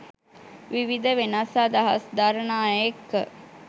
විවිධ වෙනස් අදහස් දරන අය එක්ක.